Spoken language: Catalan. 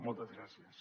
moltes gràcies